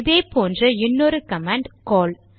இதே போன்ற இன்னொரு கமாண்ட் கால்